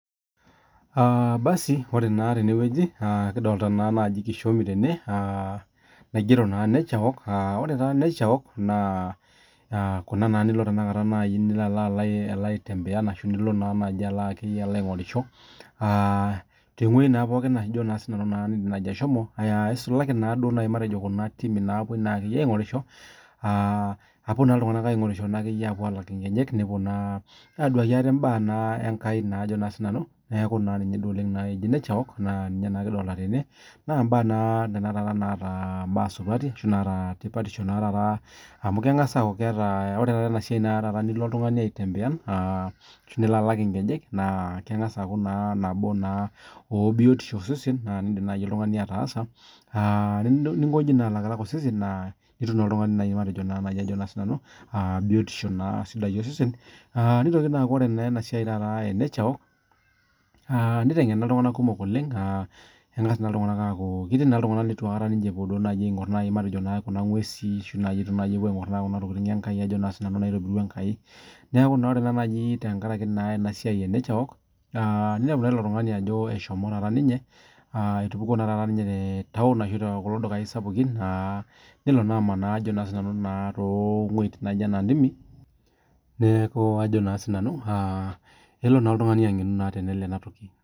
Basi ore naa tenewueji kidolta naa kishomi tene naigero nature walk , ore taa nature walk ena naa nai nilo nai aitembea ashu nilo naa nai aingorisho isalaki na kuna timi napuoi aingorisho , nepuo alak inkejek ,nepuo aduaki ate imbaa naa nena supati naata dupoto amu kengas aaku